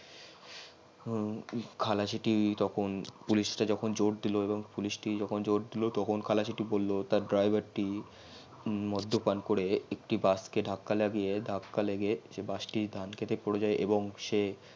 খালাসি টি তখন পুলিশ টি যখন জর দিল তখন খালাসিটি বলল তার driver টি মদ্দ্যপাণ করে একটি কে ধাক্কা লাগিয়ে ধাক্কা লাগিয়ে সেই বাস টি ধান খেতে পরে যাই